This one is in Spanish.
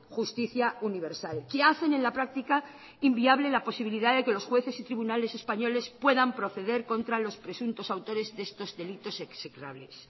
justicia universal que hacen en la práctica inviable la posibilidad de que los jueces y tribunales españoles puedan proceder contra los presuntos autores de estos delitos execrables